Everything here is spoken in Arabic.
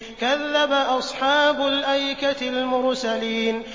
كَذَّبَ أَصْحَابُ الْأَيْكَةِ الْمُرْسَلِينَ